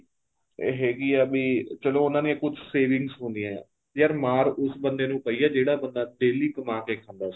ਇਹ ਹੈਗੀ ਆ ਵੀ ਚਲੋਂ ਉਹਨਾ ਦੇ ਕੁੱਝ saving ਹੁੰਦੀਆਂ ਏ ਯਾਰ ਮਾਰ ਉਸ ਬੰਦੇ ਨੂੰ ਪਈ ਏ ਜਿਹੜਾ ਬੰਦਾ daily ਕਮਾ ਕੇ ਖਾਂਦਾ ਸੀ